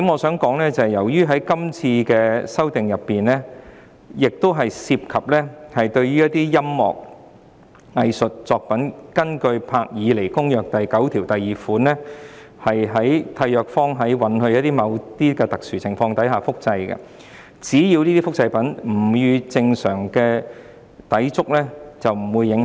此外，由於《條例草案》涉及音樂和藝術作品，根據《保護文學和藝術作品伯爾尼公約》第九條第二款，締約方允許在某些特殊情況下複製作品，只要這種複製不與正常利用相抵觸便不受影響。